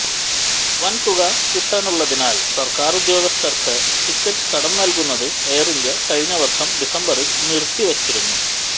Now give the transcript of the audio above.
വൻ തുക കിട്ടാനുള്ളതിനാൽ സർക്കാർ ഉദ്യോഗസ്ഥർക്ക് ടിക്കറ്റ് കടം നൽകുന്നത് എയർ ഇന്ത്യ കഴിഞ്ഞ വർഷം ഡിസംബറിൽ നിർത്തിവച്ചിരുന്നു